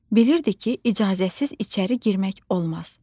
Bilirli ki, icazəsiz içəri girmək olmaz.